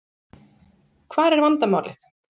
Hvar er vandamálið?